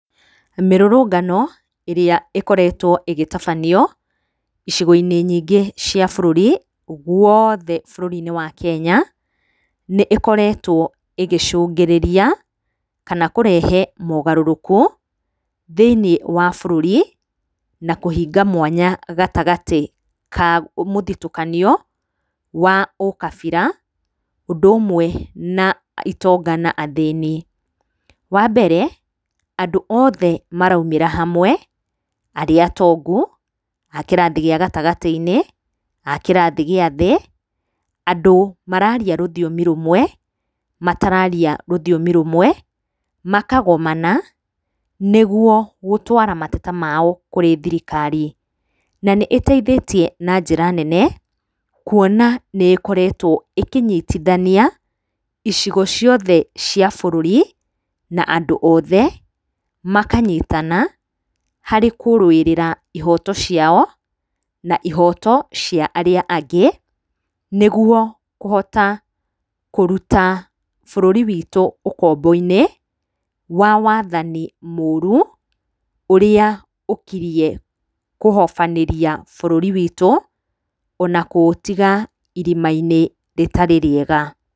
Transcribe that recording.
Mĩrũrũngano ĩrĩa ĩkoretwo ĩgĩtabanio, icigo-inĩ nyingĩ cia bũrũri, gwothe bũrũri-inĩ wa Keny,a nĩkoretwo ĩgĩcũngĩrĩria kana kũrehe mogarũrũku thĩiniĩ wa bũrũri na kũhinga mwanya gatagatĩ ka mũthitũkanio wa ũkabira ũndũ ũmwe na itonga na athĩni. Wa mbere andũ othe maraumĩra hamwe, arĩa atongu, a kĩrathi gĩa gatagatĩ-inĩ, a kĩrathi gĩathĩ, andũ mararia rũthiomi rũmwe, matararia rũthiomi rũmwe, makagomana nĩgwo gũtwara mateta mao kũrĩ thirikari. Na nĩ ĩteithĩtie na njĩra nene kwona nĩ ĩkoretwo ĩkĩnyitithania icigo ciothe cia bũrũri, na andũ othe makanyitana harĩ kũrũĩrĩra ihoto ciao,, na ihoto cia arĩa angĩ nĩgwo kũhota kũruta bũrũri witũ ũkombo-inĩ wa wathani mũru ũrĩa ũkirie kũhobanĩria bũrũri witũ ona kũũtiga irima-inĩ rĩtarĩ rĩega.